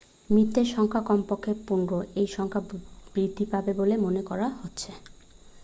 মৃতের সংখ্যা কমপক্ষে 15 এই সংখ্যা বৃদ্ধি পাবে বলে মনে করা হচ্ছে